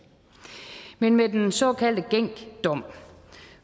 men med den såkaldte genc dom